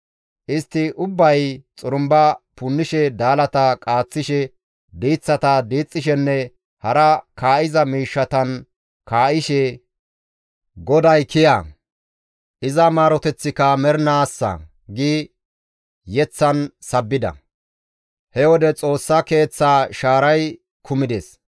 Istti ubbay xurumba punnishe daalata qaaththishe, diiththata diixxishenne hara kaa7iza miishshatan kaa7ishe, «GODAY kiya! Iza maaroteththika mernaassa» gi yeththan sabbida. He wode Xoossa Keeththaa shaaray kumides.